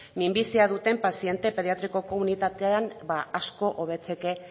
minbizia duten paziente pediatrikoko unitatean ba asko hobetzeke